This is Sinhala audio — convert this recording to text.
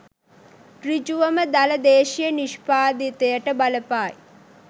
සෘජුවම දළ දේශීය නිෂ්පාදිතයට බලපායි